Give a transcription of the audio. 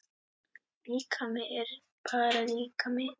Líkami er bara líkami.